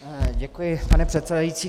Děkuji, pane předsedající.